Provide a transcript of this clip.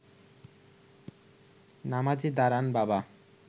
নামাজে দাঁড়ান বাবা